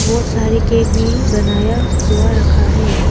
बहोत सारे केक भी बनाया हुआ रखा है।